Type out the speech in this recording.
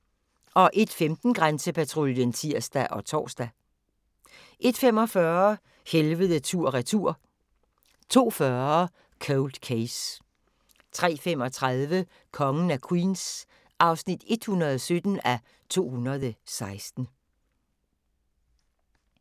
01:15: Grænsepatruljen (tir og tor) 01:45: Helvede tur/retur 02:40: Cold Case 03:35: Kongen af Queens (117:216)